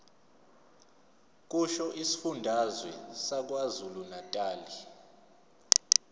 kusho isifundazwe sakwazulunatali